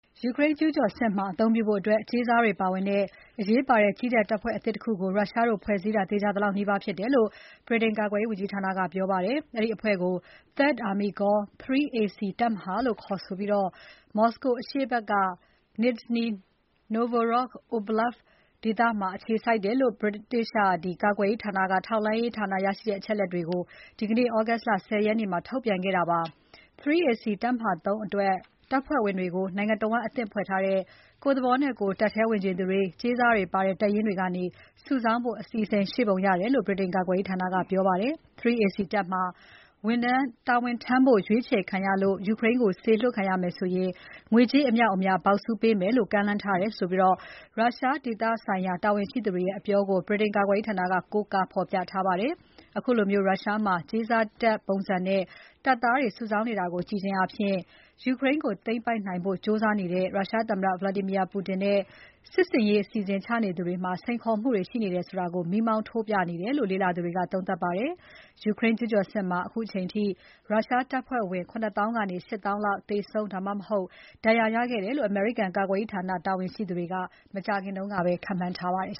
ယူကရိန်း ကျူးကျော်စစ်မှာ အသုံးပြုဖို့အတွက် ကြေးစားတွေပါဝင်တဲ့ အရေးပါတဲ့ ကြည်းတပ် တပ်ဖွဲ့အသစ်တခုကို ရုရှားတို့ ဖွဲ့စည်းတာ သေချာသလောက်နီးပါး ဖြစ်တယ်လို့ ဗြိတိန်ကာကွယ်ရေးဝန်ကြီးဌာနက ပြောပါတယ်။ အဲဒီအဖွဲ့ကို “3rd Army Corps” (3 AC) တပ်မဟာ ၃ လို့ ခေါ်ဆိုပြီး မော်စကို အရှေ့ဘက်က နစ်ဇနီ နိုဗ်ဂိုရောဒ့် အိုဗလပ်စ် (Nizhny Novgorod Oblast) ဒေသမှာ အခြေစိုက်တယ်လို့ ဗြိတိန်ကာကွယ်ရေးဌာနက ထောက်လှမ်းရရှိတဲ့ အချက်အလက်သစ်တွေကို ဒီနေ့ ဩဂုတ်လ ၁၀ ရက်နေ့ ထုတ်ပြန်ခဲ့တာဖြစ်ပါတယ်။ 3 AC တပ်မဟာ ၃ အတွက် တပ်ဖွဲ့ဝင်တွေကို နိုင်ငံတဝန်း အသစ်ဖွဲ့ထားတဲ့ ကိုယ့်သဘောနဲ့ကိုယ် တပ်ထဲဝင်ချင်သူတွေ၊ ကြေးစားတွေပါတဲ့ တပ်ရင်းတွေကနေ စုဆောင်းဖို့ အစီအစဉ်ရှိပုံရတယ်လို့ ဗြိတိန်ကာကွယ်ရေးဌာက ပြောပါတယ်။ 3 AC တပ်မှာ တာဝန်ထမ်းဖို့ ရွေးချယ်ခံရလို့ ယူကရိန်းကို စေလွှတ်ခံရရင် ငွေကြးအမြောက်အများ ဘောက်ဆူးပေးမယ်လို့ ကမ်းလှမ်းထားတယ်လို့ ရုရှားဒေသဆိုင်ရာ တာဝန်ရှိသူတွေရဲ့ အပြောကို ဗြိတိန်ကာကွယ်ရေးဌာနက ကိုးကားဖော်ပြထားပါတယ်။ အခုလို ရုရှားမှာ ကြေးစားတပ်ပုံစံနဲ့ တပ်သားတွေ စုဆောင်းနေတာကို ကြည့်ခြင်းဖြင့် ယူကရိန်းကို သိမ်းပိုက်နိုင်ဖို့ ကြိုးစားနေတဲ့ ရုရှားသမ္မတ Vladimir Putin နဲ့ စစ်ဆင်ရေး အစီအစဉ်ချနေသူတွေမှာ စိန်ခေါ်မှုတွေ ရှိနေတယ်ဆိုတာ မီးမောင်းထိုးပြနေတယ်လို့ လေ့လာသူတွေက သုံးသပ်ပါတယ်။ ယူကရိန်း ကျူးကျော်စစ်မှာ အခုအချိန်အထိ ရုရှားတပ်ဖွဲ့ဝင် ၇၀,၀၀၀ ကနေ ၈၀,၀၀၀ လောက် သေဆုံး ဒါမှမဟုတ် ဒဏ်ရာရခဲ့တယ်လို့ အမေရိကန်ကာကွယ်ရေးဝန်ကြီးဌာန တာဝန်ရှိသူတွေ မကြာခင်ကပဲ ခန့်မှန်းထားပါတယ်